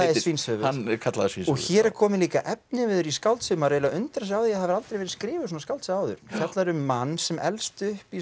Svínshöfuð hann er kallaður Svínshöfuð hér er kominn efniviður í skáldsögu maður undrar sig á að hafi aldrei verið skrifuð svona skáldsaga áður fjallar um mann sem elst upp í